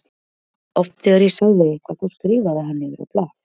Oft þegar ég sagði eitthvað þá skrifaði hann niður á blað.